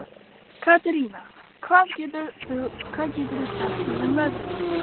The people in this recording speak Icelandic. Katerína, hvað geturðu sagt mér um veðrið?